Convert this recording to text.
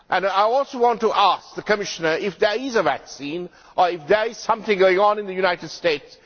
I also want to ask the Commissioner if there is a vaccine or if there is something going on in the United States.